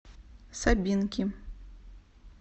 сабинки